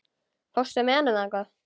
Fórstu með honum þangað?